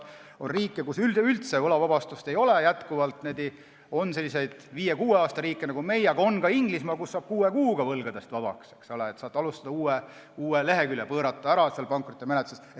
On riike, kus üleüldse ei ole võlavabastust, on selliseid viie-kuue aasta riike nagu meie, aga Inglismaal saab kuue kuuga võlgadest vabaks, saad avada uue lehekülje pankrotimenetluses.